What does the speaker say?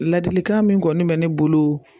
Ladilikan min kɔni bɛ ne bolo